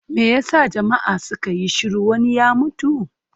Me ya sa jama'a suka yi shiru, wani ya mutu?